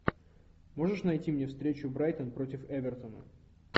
можешь найти мне встречу брайтон против эвертона